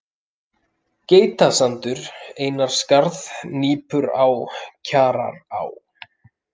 Geitasandur, Einarsskarð, Nípurá, Kjarará